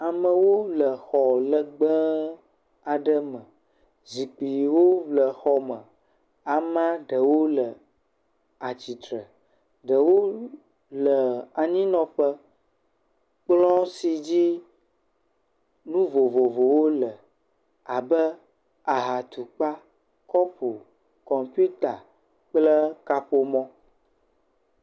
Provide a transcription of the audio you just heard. Amewo le xɔ legbe aɖe me. Zikpuiwo le xɔ me. Amea ɖewo le atsitre, ɛewo le anyinɔƒe. kplɔ si dzi nu vovovowo le abe; ahatukpa, kɔpu, kɔmpita kple kaƒomɔ.